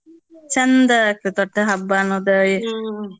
ಚಂದ ಆಗ್ತೇತ್ ಒಟ್ಟ ಹಬ್ಬ ಅನ್ನೋದ.